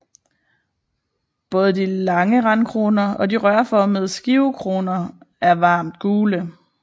Både de lange randkroner og de rørformede skivekroner er varmt gule